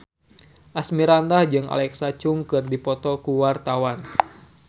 Asmirandah jeung Alexa Chung keur dipoto ku wartawan